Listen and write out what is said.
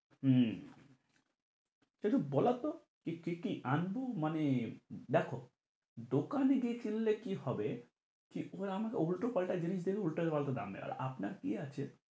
হম তো একটু বলো তো যে কি কি আনবো মানে দেখো দোকানে গিয়ে কিনলে কি হবে কি এ এবার আমাকে উল্টোপাল্টা জিনিস দেবে, উল্টোপাল্টা দাম নাব এর আপনার কি আছে?